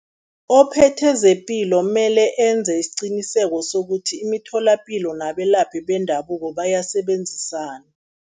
Ophethe zePilo mele enze isiqiniseko sokuthi imitholapilo nabelaphi bendabuko bayasebenzisana.